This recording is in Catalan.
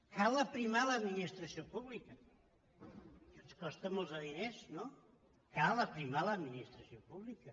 cal aprimar l’administració pública i els costa molts diners no cal aprimar l’administració pública